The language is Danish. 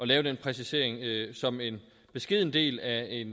lave den præcisering som en beskeden del af et